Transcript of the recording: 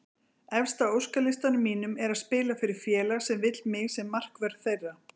Efst á óskalistanum mínum er að spila fyrir félag sem vill mig sem markvörð þeirra.